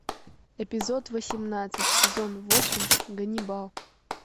эпизод восемнадцать сезон восемь ганнибал